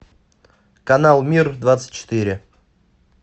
канал мир двадцать четыре